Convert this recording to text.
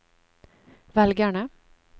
velgerne